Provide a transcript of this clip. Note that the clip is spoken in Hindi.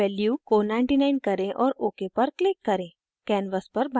x की value को 99 करें और ok पर click करें